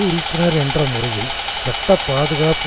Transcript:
உறுப்பினர் என்ற முறையில் சட்ட பாதுகாப்பு